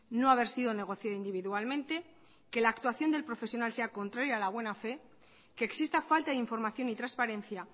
no haber sido negocio individualmente que la actuación del profesional sea contraria a la buena fe que exista falta de información y transparencia